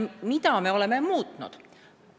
Mida me oleme muutnud?